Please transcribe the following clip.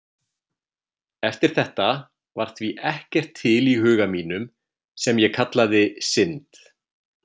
Eftir þetta var því ekkert til í huga mínum sem ég kallaði synd.